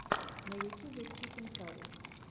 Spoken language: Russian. на ютюбе чикен карри